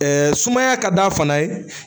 sumaya ka d'a fana ye